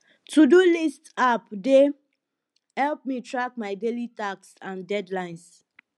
todo list apps dey help me track my daily tasks and deadlines